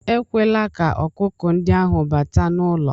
Ekwela ka ọkụkọ ndị ahụ bata n'ụlọ